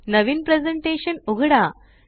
नवीन presentation उघडा